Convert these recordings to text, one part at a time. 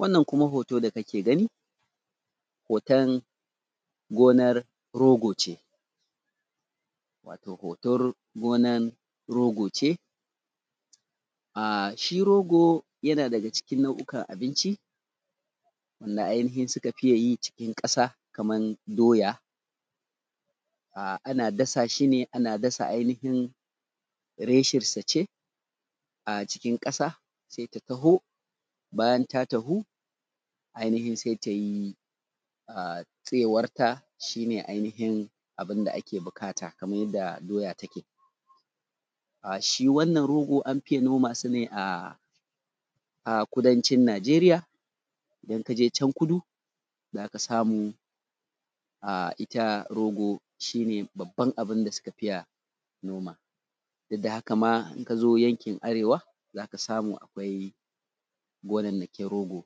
wannan kuma hotoda kake gani hoton gonar rogo ce watau hoton gonar rogo ce a shi rogo yana daga cikin nau`ukan abinci da ainihin suka fi yi cikin ƙasa kamar daya a ana dasa shi ne ana dasa ainihin reshen sa ce a cikin ƙasa sai ta tahu bayan ta tahu ainihin sai ta yi a tsayiwar ta shi ne ainihin abun da ake buƙata kamar yanda doya take a shi wannan rogo an fiye noma su ne a kudancin najeriya idan kaje can kuda zaka samu a ita rogo shi ne babban abun da suka fiya noma duk da haka ma, idan ka zo yankin arewa zaka samu akwai gonannakin rogo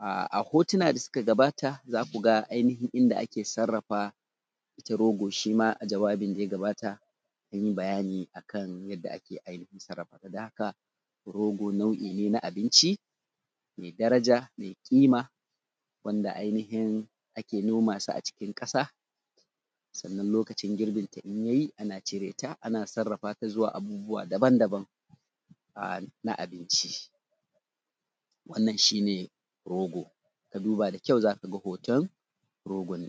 a hotuna da suka gabata za ku ga ainihin inda ake sarrafa ita rogo shi ma a jawabin da ya gabata mun yi bayani akan yanda ake ainihin sarrafa ta dan haka rogo nau`I ne na abinci mai daraja mai kima wanda ainihin ake noma su a cikin ƙasa sannan lokacin girbin ta in yayi ana cireta ana sarrafata zuwa abubuwa daban daban a na abinci wannan shi ne rogo ka duba da kyau zaka ga hoton rogon.